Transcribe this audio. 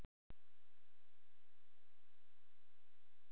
Reykjavíkurborg virkjaði uppsprettuna sem vatnið var fengið úr.